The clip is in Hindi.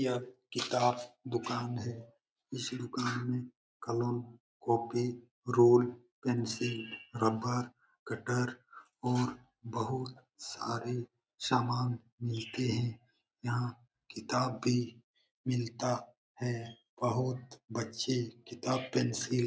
यह किताब दुकान है । इस दुकान मे कलम कॉपी रोल पेंसिल रबर कटर और बोहोत सारे समान मिलते हैं। यहाँ किताब भी मिलता है। बहुत बच्चे किताब पेंसिल --